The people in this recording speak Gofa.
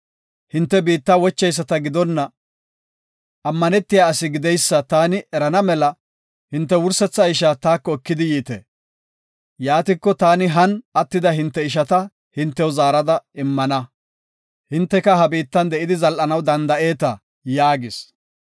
Hinte biitta wocheyisata gidonna, ammanetiya asi gideysa taani erana mela, hinte wursetha isha taako ekidi yiite. Yaatiko, taani han attida hinte ishaa hintew zaarada immana. Hinteka ha biittan de7idi zal7anaw danda7eeta’ ” yaagidosona.